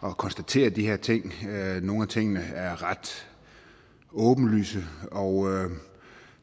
konstaterer de her ting nogle af tingene er ret åbenlyse og